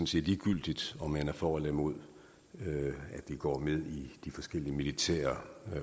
set ligegyldigt om man er for eller imod at vi går med i de forskellige militære